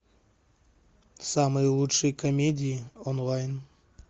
самые лучшие комедии онлайн